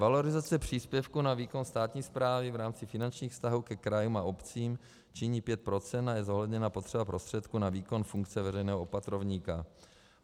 Valorizace příspěvků na výkon státní správy v rámci finančních vztahů ke krajům a obcím činí 5 % a je zohledněna potřeba prostředků na výkon funkce veřejného opatrovníka.